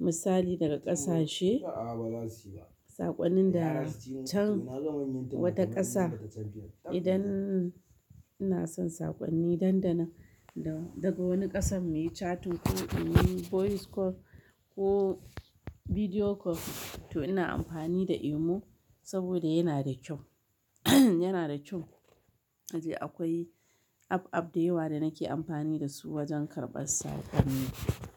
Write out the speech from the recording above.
misali daga ƙasashe. Saƙonnin da can wata ƙasa. Idan ina son saƙonni dandana da daga wani ƙasan me chatin ko in yi voice call ko bidiyo call to ina amfani da Emo saboda yana da kyau. Yana da kyau. Nace akwai app, app da yawa da nake amfani da su wajen karɓar saƙonni.